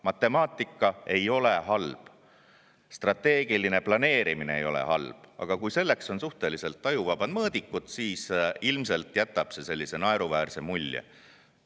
Matemaatika ei ole halb, strateegiline planeerimine ei ole halb, aga kui selleks on suhteliselt ajuvabad mõõdikud, siis ilmselt jätab see naeruväärse mulje.